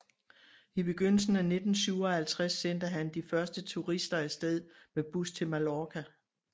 I begyndelsen af 1957 sendte han de første turister af sted med bus til Mallorca